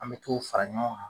An be t'o fara ɲɔgɔn kan